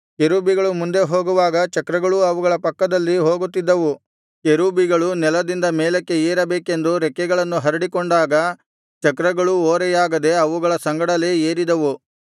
ಕೆರೂಬಿಗಳು ಮುಂದೆ ಹೋಗುವಾಗ ಚಕ್ರಗಳೂ ಅವುಗಳ ಪಕ್ಕದಲ್ಲಿ ಹೋಗುತ್ತಿದ್ದವು ಕೆರೂಬಿಗಳು ನೆಲದಿಂದ ಮೇಲಕ್ಕೆ ಏರಬೇಕೆಂದು ರೆಕ್ಕೆಗಳನ್ನು ಹರಡಿಕೊಂಡಾಗ ಚಕ್ರಗಳೂ ಓರೆಯಾಗದೆ ಅವುಗಳ ಸಂಗಡಲೇ ಏರಿದವು